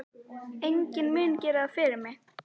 Enginn mun gera það fyrir mig.